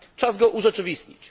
Czas go urzeczywistnić.